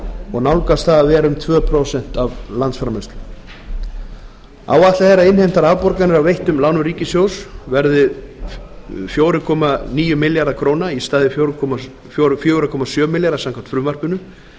og er það nálægt því að vera tvö prósent af landsframleiðslu áætlað er að innheimtar afborganir af veittum lánum ríkissjóðs verði fjögur þúsund níu hundruð fimmtíu milljónir króna í stað fjögur þúsund sjö hundruð milljóna króna samkvæmt frumvarpinu